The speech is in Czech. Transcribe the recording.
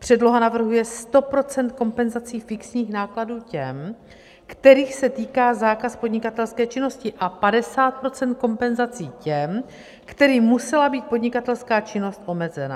Předloha navrhuje 100 % kompenzací fixních nákladů těm, kterých se týká zákaz podnikatelské činnosti, a 50 % kompenzací těm, kterým musela být podnikatelská činnost omezena.